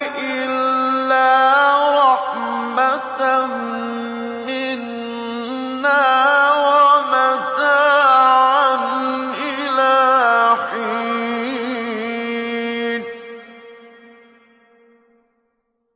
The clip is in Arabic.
إِلَّا رَحْمَةً مِّنَّا وَمَتَاعًا إِلَىٰ حِينٍ